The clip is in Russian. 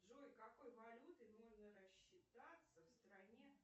джой какой валютой можно расчитаться в стране